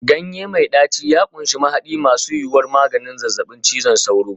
Ganye mai ɗaci ya ƙunshi mahadi masu yuwuwar maganin zazzabin cizon sauro.